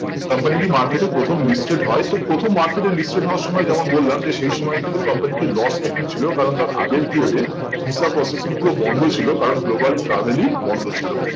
company টি market এ প্রথম listed হয় তো প্রথম market এ listed হবার সময় যেমন বললাম যে সেই সময় কিন্তু company টির loss making ছিল কারণ তার আগের period এ visa processing পুরো বন্দ ছিল কারণ global travel ই বন্ধ ছিল